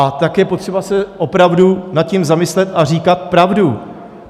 A tak je potřeba se opravdu nad tím zamyslet a říkat pravdu.